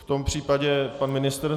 V tom případě - pan ministr?